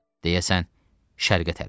Deyəsən şərqə tərəf.